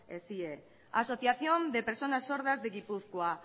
eshie asociación de personas sordas de gipuzkoa